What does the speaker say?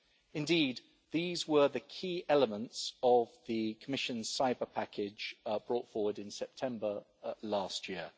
Indeed, these were the key elements of the Commission's cyber package brought forward in September last year.